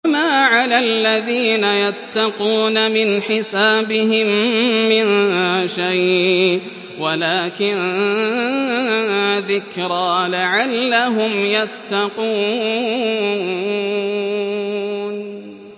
وَمَا عَلَى الَّذِينَ يَتَّقُونَ مِنْ حِسَابِهِم مِّن شَيْءٍ وَلَٰكِن ذِكْرَىٰ لَعَلَّهُمْ يَتَّقُونَ